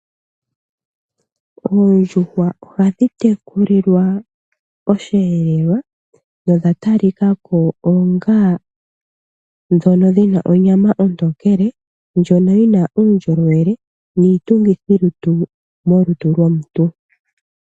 Oondjuhwa ohadhi tekulilwa osheelelwa nodha talika ko onga ndhono dhi na onyama ontookele ndjono yi na uundjolowele niitungithilutu molutu lwomuntu.